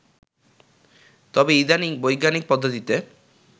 তবে ইদানীং বৈজ্ঞানিক পদ্ধতিতে